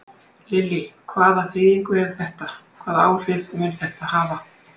Lillý: Hvaða þýðingu hefur þetta, hvaða áhrif mun þetta hafa?